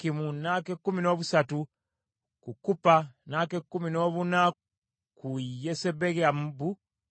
n’ak’ekkumi noobusatu ku Kuppa, n’ak’ekkumi noobuna ku Yesebeyabu,